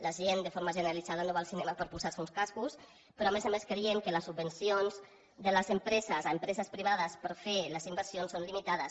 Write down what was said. la gent de forma generalitzada no va al cinema per posar se uns cascos però a més a més creiem que les subvencions de les empreses a empreses privades per fer les inversions són limitades